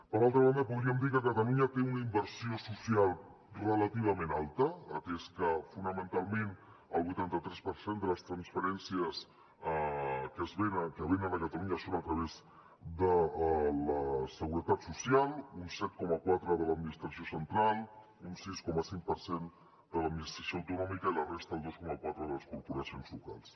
per altra banda podríem dir que catalunya té una inversió social relativament alta atès que fonamentalment el vuitanta tres per cent de les transferències que venen a catalunya són a través de la seguretat social un set coma quatre de l’administració central un sis coma cinc per cent de l’administració autonòmica i la resta el dos coma quatre de les corporacions locals